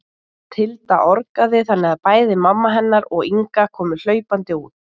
Tilda orgaði þannig að bæði mamma hennar og Inga komu hlaupandi út.